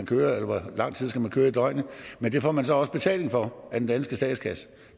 køre og hvor lang tid man skal køre i døgnet men det får man så også betaling for af den danske statskasse